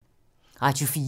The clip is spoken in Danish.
Radio 4